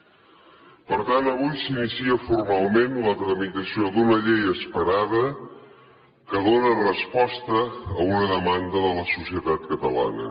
per tant avui s’inicia formalment la tramitació d’una llei esperada que dóna resposta a una demanda de la societat catalana